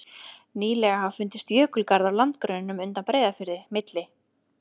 Nýlega hafa fundist jökulgarðar á landgrunninu undan Breiðafirði, milli